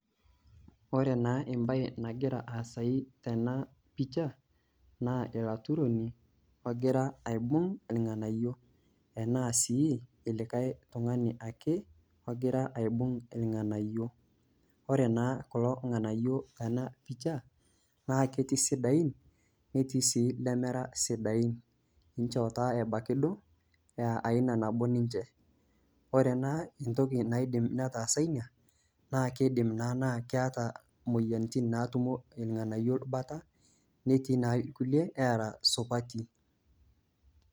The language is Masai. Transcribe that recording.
Ore naa embaye nagira aasayu tena picha, naa olaturoni ogira aibung' ilng'anayio, anaa sii likai tung'ani ake ogira aibung' ilng'anayo. Ore naa kulo ng'anayio tena pisha naa ketii isidain, naa ketii ilemera sidain, inchoo taa ebaiki duo e aina nabo ninche, ore naa entoki naidim netaasa ina, naa keidim naa na keata imoyiaritin naa ketumo ilng'anayio bata, netii naa ilkulie oora supati.